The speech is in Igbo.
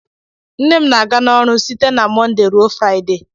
Nne m na-aga ọrụ site na Mọnde ruo Fraịde